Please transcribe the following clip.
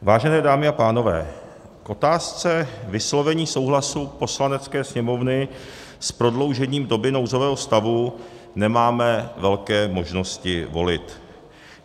Vážené dámy a pánové, k otázce vyslovení souhlasu Poslanecké sněmovny s prodloužením doby nouzového stavu nemáme velké možnosti volby.